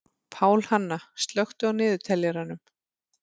Pálhanna, slökktu á niðurteljaranum.